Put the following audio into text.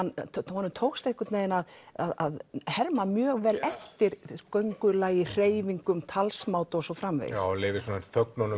honum tókst einhvern veginn að að herma mjög vel eftir göngulagi hreyfingum talsmáta og svo framvegis leyfir